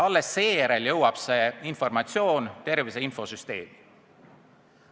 Alles seejärel jõuab see informatsioon tervise infosüsteemi.